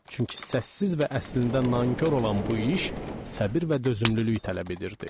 Çünki səssiz və əslində nankor olan bu iş səbr və dözümlülük tələb edirdi.